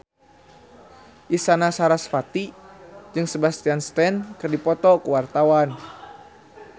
Isyana Sarasvati jeung Sebastian Stan keur dipoto ku wartawan